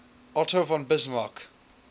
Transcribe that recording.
otto von bismarck